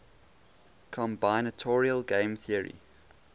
combinatorial game theory